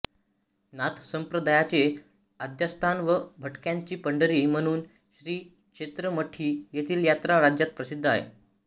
नाथसंप्रदयाचे आद्यस्थान व भटक्यांची पंढरी म्हणुन श्री क्षेञ मढी येथील याञा राज्यात प्रसिद्ध आहे